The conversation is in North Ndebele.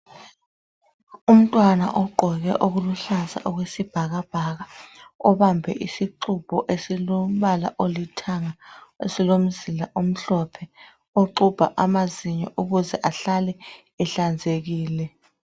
Umntwana ogqoke okuluhlaza okwesibhakabhaka obambe isixubho esilombala olithanga esilomzila omhlophe oxubha amazinyo ukuze ahlale ehlanzekileyo.